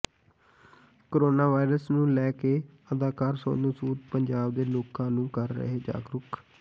corona virus ਨੂੰ ਲੈ ਕੇ ਅਦਾਕਾਰ ਸੋਨੂੰ ਸੂਦ ਪੰਜਾਬ ਦੇ ਲੋਕਾਂ ਨੂੰ ਕਰ ਰਹੇ ਜਾਗਰੂਕ